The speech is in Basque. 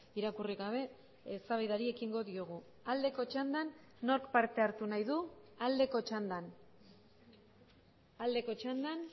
irakurri gabe eztabaidari ekingo diogu aldeko txandan nork parte hartu nahi du aldeko txandan aldeko txandan